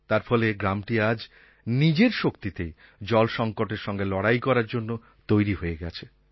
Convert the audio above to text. তার ফলে গ্রামটি আজ নিজের শক্তিতেই জল সংকটের সঙ্গে লড়াই করার জন্য তৈরি হয়ে গেছে